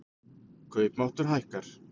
Kaupmáttur hækkar